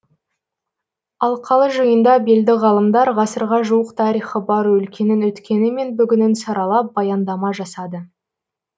алқалы жиында белді ғалымдар ғасырға жуық тарихы бар өлкенің өткені мен бүгінін саралап баяндама жасады